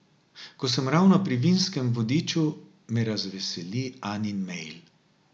Ko sem ravno pri Vinskem vodiču, me razveseli Anin mail.